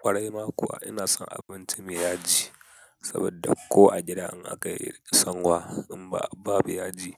Kwarai ma kuwa ina son abinci mai yaji, saboda ko a gida in aka yi sanwa in ba abu yaji